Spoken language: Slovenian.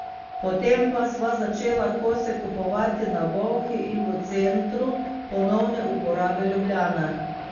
Potem pa sva začela kose kupovati na Bolhi in v Centru ponovne uporabe Ljubljana.